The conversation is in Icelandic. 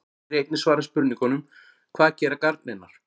Hér er einnig svarað spurningunum: Hvað gera garnirnar?